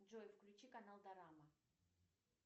джой включи канал дорама